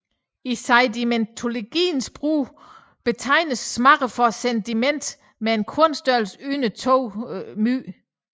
I sedimentologien bruges betegnelsen mudder for sediment med en kornstørrelse under 2 µm